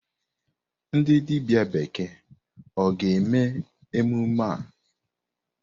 Ndi dibia bekee ga-eme emume a?